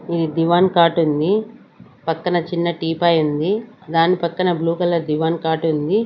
ఇది divan cot ఉంది. పక్కన చిన్న టీపాయ్ ఉంది దాని పక్కన బ్లూ కలర్ దివాన్ కాట్ ఉంది.